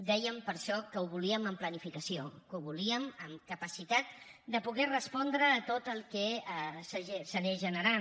dèiem per això que ho volíem amb planificació que ho volíem amb capacitat de poder respondre a tot el que s’anés generant